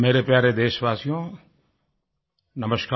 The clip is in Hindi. मेरे प्यारे देशवासियो नमस्कार